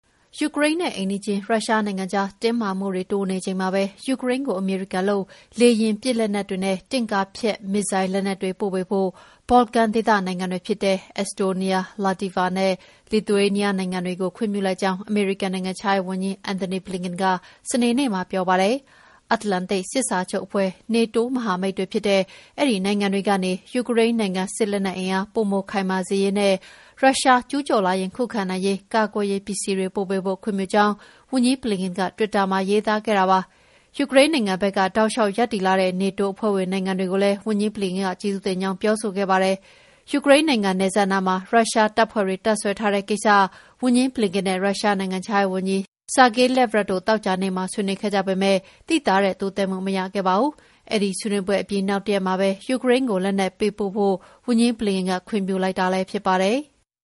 ယူကရိန်းနဲ့ အိမ်နီးချင်း ရုရှားနိုင်ငံကြား တင်းမာမှုတွေ တိုးနေချိန်မှာပဲ ယူကရိန်းကို အမေရိကန်လုပ် လေယာဉ်ပစ်လက်နက်တွေနဲ့ တင့်ကားဖျက် မစ်ဇိုင်းလက်နက်တွေ ပို့ပေးဖို့ ဘော်လကန်ဒေသက နိုင်ငံတွေဖြစ်တဲ့ Estonia, Latvia နဲ့ Lithuania နိုင်ငံတွေကို ခွင့်ပြုလိုက်ကြောင်း အမေရိကန် နိုင်ငံခြားရေးဝန်ကြီး Antony Blinken က စနေနေ့မှာ ပြောပါတယ်။ မြောက်အတ္တလန္တိတ် စစ်စာချုပ်အဖွဲ့ (NATO) မဟာမိတ်တွေဖြစ်တဲ့ အဲဒီနိုင်ငံတွေကနေ ယူကရိန်းနိုင်ငံ စစ်အင်အား ပိုခိုင်မာစေရေးနဲ့ ရုရှားကျူးကျော်လာရင် ခုခံနိုင်ရေး ကာကွယ်ရေးပစ္စည်းတွေ ပို့ပေးဖို့ ခွင့်ပြုကြောင်း ဝန်ကြီး Blinken က တွစ်တာမှာ ရေးသားခဲ့ပါတယ်။ ယူကရိန်းနိုင်ငံဘက်က တောက်လျှောက်ရပ်တည်လာတဲ့ နေတိုးအဖွဲ့ဝင် နိုင်ငံတွေကိုလည်း ဝန်ကြီး Blinken က ကျေးဇူးတင်ကြောင်း ပြောဆိုခဲ့ပါတယ်။ ယူကရိန်းနိုင်ငံ နယ်စပ်နားမှာ ရုရှားတပ်ဖွဲ့တွေ တပ်စွဲထားတဲ့ကိစ္စ ဝန်ကြီး Blinken နဲ့ ရုရှားနိုင်ငံခြားရေးဝန်ကြီး Sergey Lavrov တို့ သောကြာနေ့က ဆွေးနွေးခဲ့ကြပေမယ့် သိသာတဲ့တိုးတက်မှု မရခဲ့ပါဘူး။ အဲဒီဆွေးနွေးပွဲအပြီး နောက်တရက်မှာပဲ ယူကရိန်းကို လက်နက်ပေးပို့ဖို့ ဝန်ကြီး Blinken က ခွင့်ပြုလိုက်တာလည်း ဖြစ်ပါတယ်။